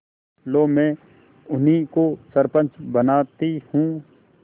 लो मैं उन्हीं को सरपंच बदती हूँ